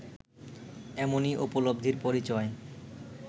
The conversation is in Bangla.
এমনই উপলব্ধির পরিচয়